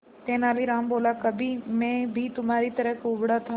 तेनालीराम बोला कभी मैं भी तुम्हारी तरह कुबड़ा था